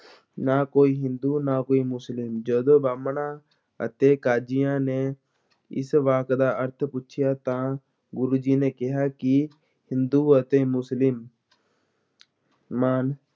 ਨਾ ਕੋਈ ਹਿੰਦੂ, ਨਾ ਕੋਈ ਮੁਸਲਿਮ ਜਦੋਂ ਬ੍ਰਾਹਮਣਾਂ ਅਤੇ ਕਾਜ਼ੀਆਂ ਨੇ ਇਸ ਵਾਕ ਦਾ ਅਰਥ ਪੁੱਛਿਆ, ਤਾਂ ਗੁਰੂ ਜੀ ਨੇ ਕਿਹਾ ਕਿ ਹਿੰਦੂ ਅਤੇ ਮੁਸਲਿਮ ਮਾਨ